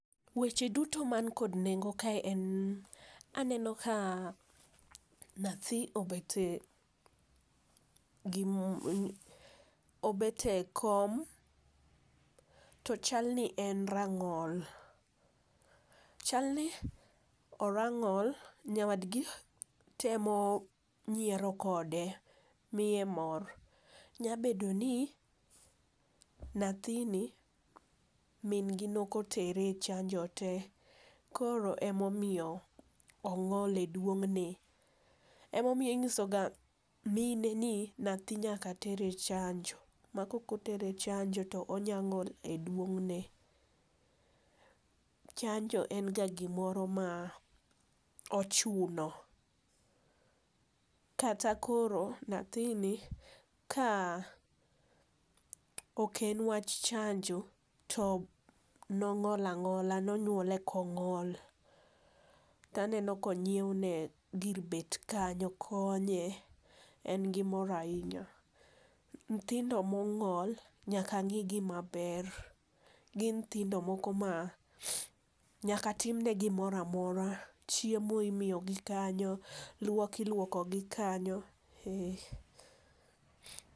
Weche duto man kod nengo kae en aneno ka nyathi obet e, obet e kom to chal nien rang'ol. Chalni orang'ol, nyawadgi temo nyiero kode miye mor. Nyalo bedo ni nyathini min gi ne ok otere echanjo tee koro ema omiyo ong'ol e duong'ne. Ema omiyo inyiso mine ni nyathi nyaka ter echanjo ma kaok otere e chanjo to onyalo ng'ol e duong' ne. Chanjo en ga gimoro ma ochuno kata koro nyathini ka ok en wach chanjo to ne ong'ol ang'ola ne onyuole ka ong'ol. To aneno ka onyiewne gir bet kanyo konye, en gi omor ahinya. Nyithindo mong'ol nyaka ng'i maber, gin nyithindo moko ma nyaka timne gimoro amora, chiemo imiyoi kanyo, luok iluokogi kanyo, ee.